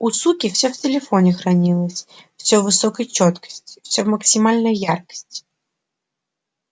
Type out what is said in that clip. у суки все в телефоне хранилось все в высокой чёткости все в максимальной яркости